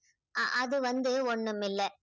அ~ அது வந்து ஒண்ணும் இல்லை.